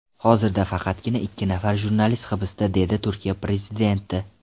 Hozirda faqatgina ikki nafar jurnalist hibsda”, dedi Turkiya prezidenti.